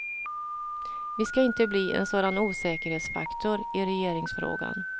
Vi ska inte bli en sådan osäkerhetsfaktor i regeringsfrågan.